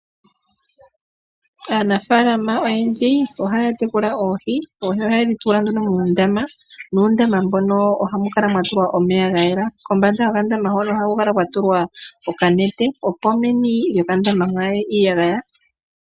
Aanafaalama oyendji ohaya tekula oohi, oha yedhi tula nduno muundama, nuundama mbono ohamu kala mwa tulwa omeya ga yela. Kombanda yo kandama hono ohaku kala kwa tulwa okanete, opo meni lyokandama mwaaye iiyagaya.